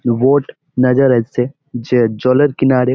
Boat নেজর আসছে। যে জলের কিনারে --